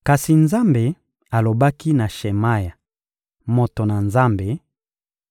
Kasi Nzambe alobaki na Shemaya, moto na Nzambe: